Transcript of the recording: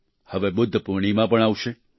હવે બુદ્ધ પૂર્ણિમા પણ આવશે